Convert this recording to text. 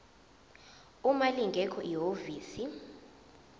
uma lingekho ihhovisi